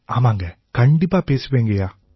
ஆமாங்க கண்டிப்பா பேசுவேங்கய்யா